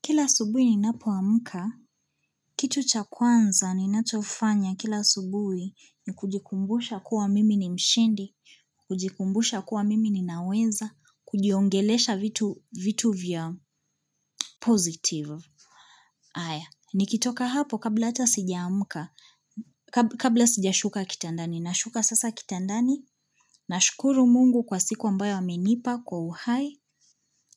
Kila asubuhi ninapoamka, kitu cha kwanza ninachofanya kila asubuhi ni kujikumbusha kuwa mimi ni mshindi, kujikumbusha kuwa mimi ninaweza, kujiongelesha vitu vya ''positive''. Aya, nikitoka hapo kabla hata sijaamka, kabla sijashuka kitandani, nashuka sasa kitandani, nashukuru mungu kwa siku ambayo amenipa kwa uhai,